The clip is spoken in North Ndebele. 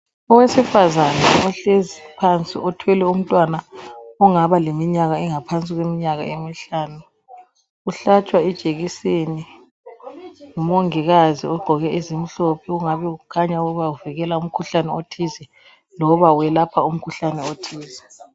Owesifazana ohlezi phansi. Othwele umntwana ongaba leminyaka, engaphansi kweminyaka emihlanu. Uhlatshwa ijekiseni, ngumongikazi ogqoke ezimhlophe. Okungabe kukhanya ukuba uvikela umkhuhlane othize. Loba welapha umkhuhlane othize.